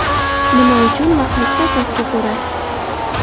Nima uchun va qaysi asosga ko‘ra?